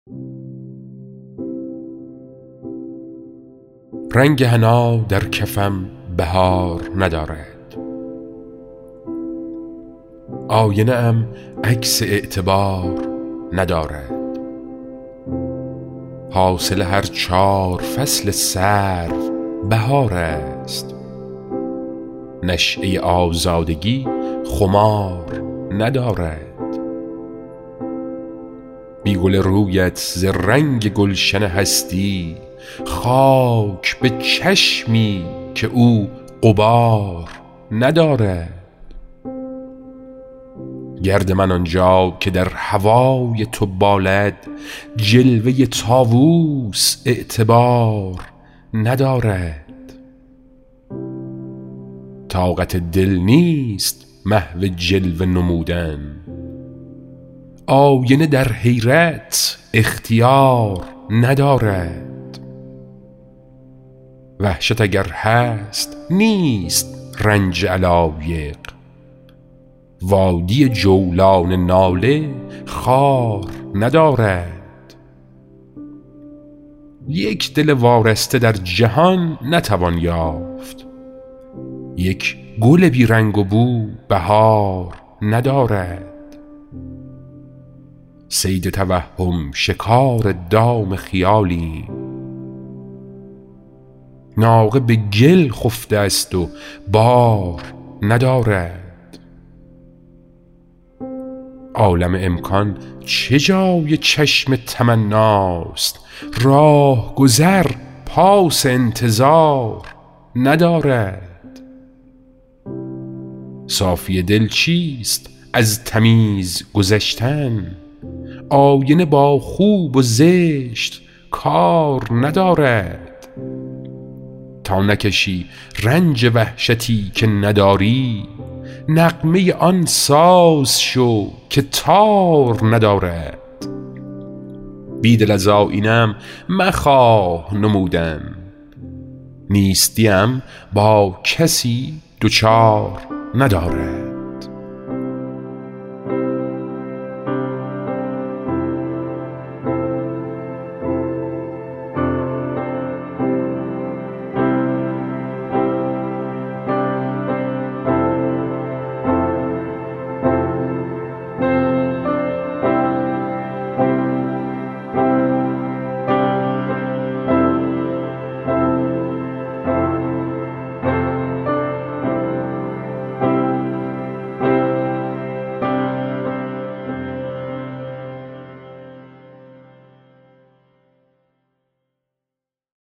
رنگ حنا در کفم بهار ندارد آینه ام عکس اعتبار ندارد حاصل هر چار فصل سر و بهار است نشیه آزادگی خمار ندارد بی گل رو یت ز رنگ گلشن هستی خاک به چشمی که او غبار ندارد گرد من آنجا که در هوای تو بالد جلوه طاووس اعتبار ندارد طاقت دل نیست محو جلوه نمودن آینه در حیرت اختیار ندارد وحشت اگر هست نیست رنج علایق وادی جولان ناله خار ندارد یک دل وارسته در جهان نتوان یافت یک گل بیرنگ و بو بهار ندارد صید توهم شکار دام خیالیم ناقه به گل خفته است و بار ندارد عالم امکان چه جای چشم تمناست راهگذر پاس انتظار ندارد صافی دل چیست از تمیز گذشتن آینه با خوب و زشت کار ندارد تا نکشی رنج وحشتی که نداری نغمه آن ساز شو که تار ندارد بیدل از آیینه ام مخواه نمودن نیستی ام با کسی دچار ندارد